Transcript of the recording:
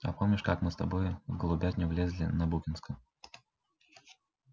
а помнишь как мы с тобой в голубятню влезли на букинском